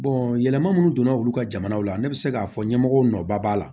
yɛlɛma munnu donna olu ka jamanaw la ne bɛ se k'a fɔ ɲɛmɔgɔw nɔba la